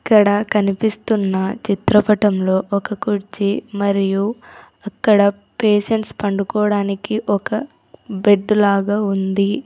ఇక్కడ కనిపిస్తున్న చిత్రపటంలో ఒక కుర్చీ మరియు అక్కడ పేషెంట్స్ పండుకోవడానికి ఒక బెడ్ లాగా ఉంది.